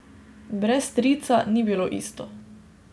Brez strica ni bilo isto.